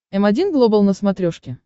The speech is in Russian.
м один глобал на смотрешке